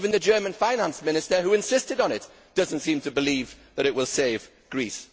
even the German Finance Minister who insisted on it does not seem to believe that it will save Greece.